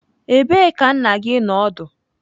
Ebee ka nna gi nọ ọdụ?